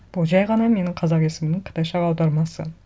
бұл жай ғана менің қазақ есімімнің қытайша аудармасы